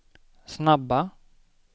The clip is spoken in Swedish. snabba